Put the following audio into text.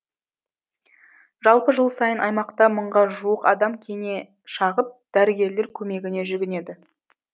жалпы жыл сайын аймақта мыңға жуық адам кене шағып дәрігерлер көмегіне жүгінеді